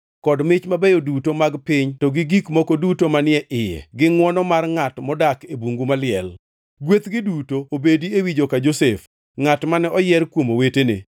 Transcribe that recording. kod mich mabeyo duto mag piny to gi gik moko duto manie iye gi ngʼwono mar ngʼat modak e bungu maliel. Gwethgi duto obedi ewi joka Josef, ngʼat mane oyier kuom owetene.